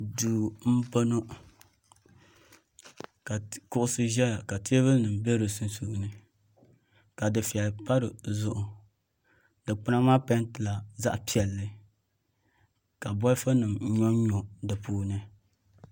Duu m boŋɔ ka kuɣusi ʒɛya ka teebuli nima be di sunsuuni ka dufeya pa dizuɣu dikpina maa pentila zaɣa piɛlli ka bolifu nima nyonnyo dipuuni.